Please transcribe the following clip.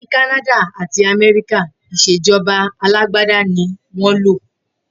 Ni Kànàdà àtí Àmẹríkà, Ìṣejọba àlàgbàdà ni wọn lo